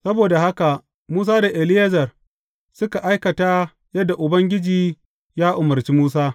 Saboda haka Musa da Eleyazar suka aikata yadda Ubangiji ya umarci Musa.